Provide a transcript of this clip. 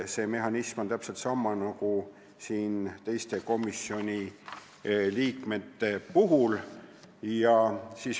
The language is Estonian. See mehhanism on täpselt sama nagu teiste komisjoni liikmete puhul.